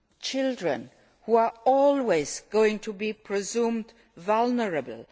and children who are always going to be considered vulnerable.